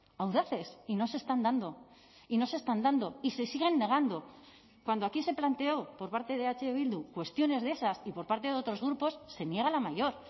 audaces y no se están dando y no se están dando y se siguen negando cuando aquí se planteó por parte de eh bildu cuestiones de esas y por parte de otros grupos se niega la mayor